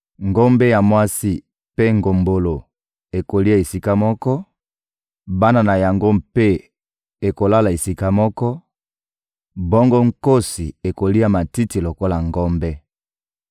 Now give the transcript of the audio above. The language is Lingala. Ngombe ya mwasi mpe ngombolo ekolia esika moko, bana na yango mpe ekolala esika moko, bongo nkosi ekolia matiti lokola ngombe.